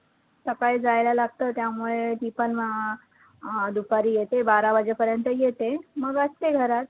सकाळी जायला लागतं, त्यामुळे ती पण मग अं अं दुपारी येते बारा वाजेपर्यंत येते मग असते घरात